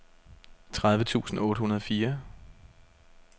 tredive tusind otte hundrede og fire